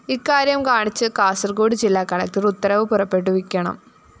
ഇക്കാര്യം കാണിച്ച് കാസര്‍കോട് ജില്ലാ കളകടര്‍ ഉത്തരവ് പുറപ്പെടുവിക്കണം